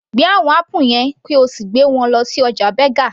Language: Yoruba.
Gbé àwọn apple yẹn kí o sì gbé wọn lọ sí ọjà Berger